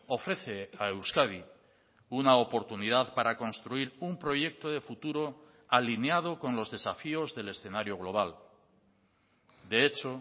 ofrece a euskadi una oportunidad para construir un proyecto de futuro alineado con los desafíos del escenario global de hecho